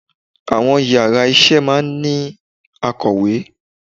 Àwọn yàrá isé máa ní akọ̀wé